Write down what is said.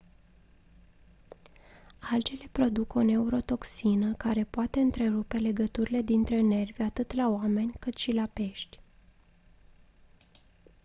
algele produc o neurotoxină care poate întrerupe legăturile dintre nervi atât la oameni cât și la pești